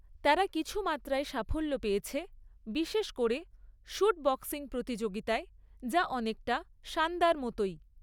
তারা কিছু মাত্রায় সাফল্য পেয়েছে, বিশেষ করে শুট বক্সিং প্রতিযোগিতায়, যা অনেকটা সান্দার মতোই।